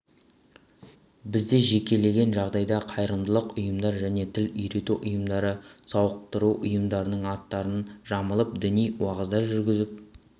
бізде жекелеген жағдайда қайырымдылық ұйымдар және тіл үйрету ұйымдары сауықтыру ұйымдарының аттарын жамылып діни уағыздар жүргізіп